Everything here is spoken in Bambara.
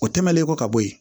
O tɛmɛnen kɔ ka bɔ yen